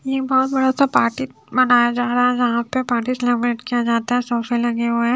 ये बहुत सारा सा पार्टी मनाया जा रहा यहां पे पार्टी सेलिब्रेट किया जाता है सोफे लगे हुए है।